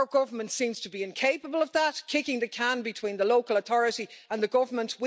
Our government seems to be incapable of that, kicking the can between the local authority and the government.